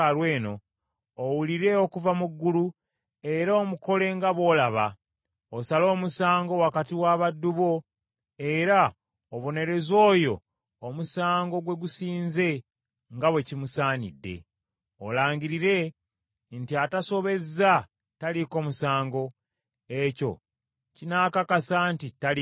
owulire okuva mu ggulu, era omukole nga bw’olaba. Osale omusango wakati wa baddu bo, era obonereze oyo omusango gwe gusinze nga bwe kimusaanidde. Olangirire nti atasobezza taliiko musango, ekyo kinaakakasa nti taliiko musango.